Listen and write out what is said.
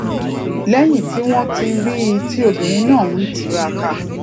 léyìn tí wón rí i tí obìnrin náà ń tiraka